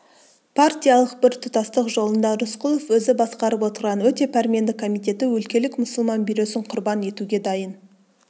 партиялық біртұтастық жолында рысқұлов өзі басқарып отырған өте пәрменді комитеті өлкелік мұсылман бюросын құрбан етуге дайын